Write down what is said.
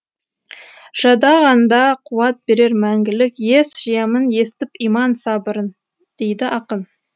жадағанда қуат берер мәңгілік ес жиямын естіп иман сабырын дейді ақын